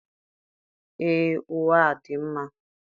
Ee, ụwa a dị mma.